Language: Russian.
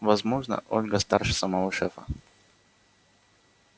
возможно ольга старше самого шефа